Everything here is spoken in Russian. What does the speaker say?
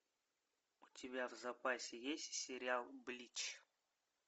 у тебя в запасе есть сериал блич